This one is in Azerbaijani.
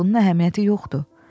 Bunun əhəmiyyəti yoxdur.